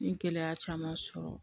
N ye gɛlɛya caman sɔrɔ